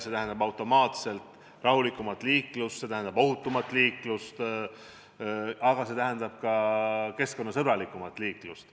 See tähendab automaatselt rahulikumat ja ohutumat liiklust, aga ka keskkonnasõbralikumat liiklust.